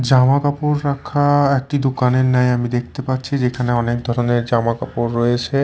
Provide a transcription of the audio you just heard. জামাকাপড় রাখা একটি দুকানের ন্যায় আমি দেখতে পাচ্ছি যে এখানে অনেক ধরনের জামাকাপড় রয়েছে।